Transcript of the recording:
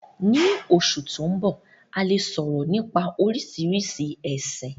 Ní Osù to n bọ, a le soro nipa Oríṣiríṣi ẹ̀sin.